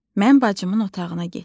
Mən bacımın otağına getdim.